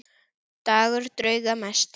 Gangur drauga mesti.